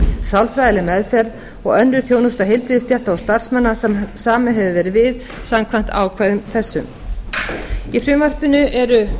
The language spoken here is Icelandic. sálfræðileg meðferð og önnur þjónusta heilbrigðisstétta og starfsmanna sem samið hefur verið við samkvæmt ákvæðum þessum í frumvarpinu eru